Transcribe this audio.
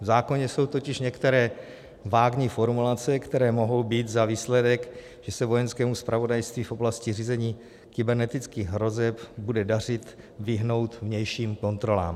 V zákoně jsou totiž některé vágní formulace, které mohou mít za výsledek, že se Vojenskému zpravodajství v oblasti řízení kybernetických hrozeb bude dařit vyhnout vnějším kontrolám.